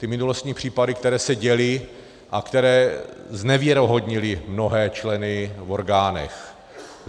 Ty minulostní případy, které se děly a které znevěrohodnily mnohé členy v orgánech.